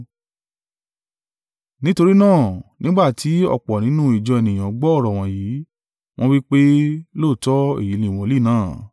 Nítorí náà, nígbà tí ọ̀pọ̀ nínú ìjọ ènìyàn gbọ́ ọ̀rọ̀ wọ̀nyí, wọ́n wí pé, “Lóòótọ́ èyí ni wòlíì náà.”